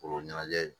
Kolo ɲɛnajɛ